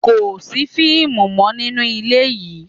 Kò sí fíìmù mọ nínú ilé yìí!